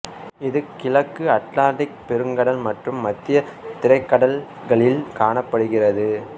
இது கிழக்கு அத்திலாந்திக்குப் பெருங்கடல் மற்றும் மத்திய தரைக்கடல்களில் காணப்படுகிறது